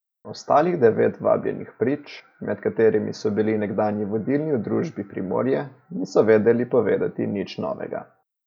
Ostalih devet vabljenih prič, med katerimi so bili nekdanji vodilni v družbi Primorje, niso vedeli povedati nič novega.